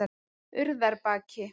Urðarbaki